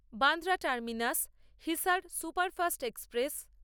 Bandra terminus Hisar superfast express